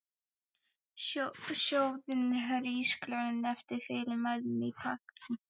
Sjóðið hrísgrjónin eftir fyrirmælum á pakkanum.